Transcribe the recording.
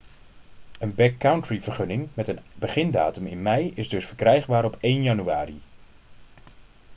een backcountry-vergunning met een begindatum in mei is dus verkrijgbaar op 1 januari